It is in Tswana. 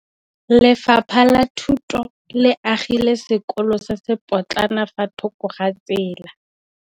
Lefapha la Thuto le agile sekôlô se se pôtlana fa thoko ga tsela.